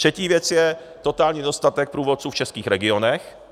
Třetí věc je totální nedostatek průvodců v českých regionech.